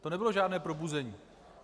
To nebylo žádné probuzení.